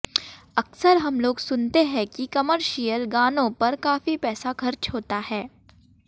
अक्सर हम लोग सुनते हैं कि कॉमर्शियल गानों पर काफी पैसा खर्च होता है